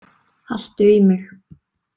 Haltu í mig.